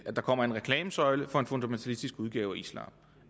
kommer en reklamesøjle for en fundamentalistisk udgave af islam